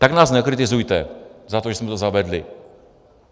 Tak nás nekritizujte za to, že jsme to zavedli!